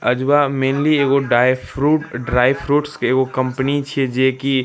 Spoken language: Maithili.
आजुवा मेनली एगो डाय फ्रूट ड्राई फ्रूट्स के एगो कंपनी छे जे की --